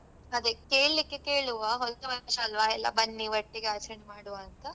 ಅದೇ ಕೇಳಿಕ್ಕೆ ಕೇಳುವ ಹೊಸ ವರ್ಷ ಅಲ್ವಾ ಎಲ್ಲಾ ಬನ್ನಿ ಒಟ್ಟಿಗೆ ಆಚರಣೆ ಮಾಡ್ವ ಅಂತ.